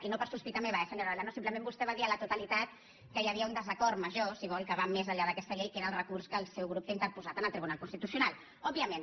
i no per sospita meva eh senyora olano simplement vostè va dir a la totalitat que hi havia un desacord major si vol que va més enllà d’aquesta llei que era el recurs que el seu grup té interposat en el tribunal constitucional òbviament